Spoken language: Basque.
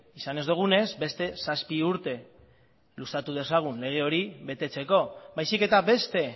izan ez dugunez beste zazpi urte luzatu dezagun lege hori betetzeko baizik eta beste